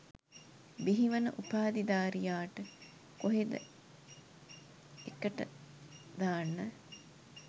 බිහිවන උපාධීධාරියාට කොහෙද එකට දාන්න?